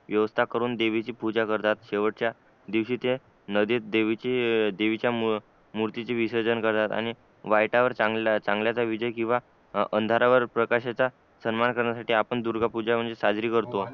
व्यवस्था करून देवीची पूजा करतात शेवटच्या दिवशी ते नदीत देवीची अं देवीच्या मूर्तीचे विसर्जन करतात आणि वाईटावर चांगल्याच विजय किंवा अंधारावर प्रकाशाचा सन्मान करण्यासाठी आपण दुर्गा पूजा म्हणजे साजरी करतो